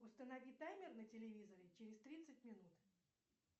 установи таймер на телевизоре через тридцать минут